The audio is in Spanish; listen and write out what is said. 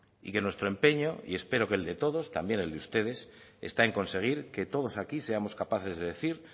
y que nuestro empeño y espero que el de todos también el de ustedes está en conseguir que todos aquí seamos capaces de decir